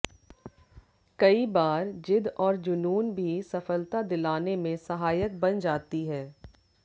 कई बार जिद और जुनून भी सफलता दिलाने में सहायक बन जाती है